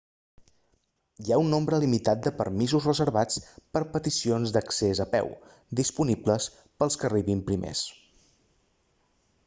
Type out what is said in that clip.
hi ha un nombre limitat de permisos reservats per a peticions d'accés a peu disponibles per als que arribin primers